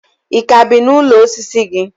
Ị ka bi n'ụlọ osisi gị?